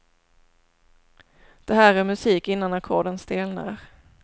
Det här är musik innan ackorden stelnar.